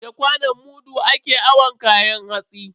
Da kwanon mudu ake awon kayan hatsi.